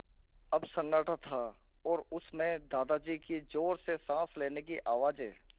अब सन्नाटा था और उस में दादाजी की ज़ोर से साँस लेने की आवाज़ें